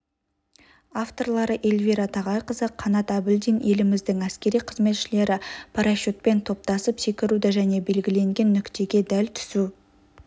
авторлары эльвира тағайқызы қанат әбілдин еліміздің әскери қызметшілері парашютпен топтасып секіруді және белгіленген нүктеге дәл түсу